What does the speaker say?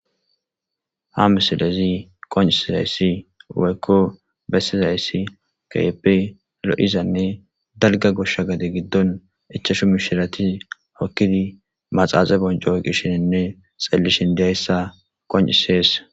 ha misilezi konisizayssi wouykko bessizayssi keeppe lo7izanne dalga goshsha gade giddon echashu mishirati okkidi maxaaxe bonco gishshininne xeellishin diyayssa qoncisees